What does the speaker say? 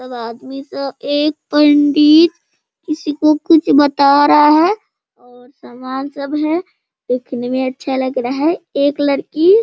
और आदमी सब एक पंडित किसी को कुछ बता रहा है और सामान सब है | देखने में अच्छा लग रहा है | एक लड़की --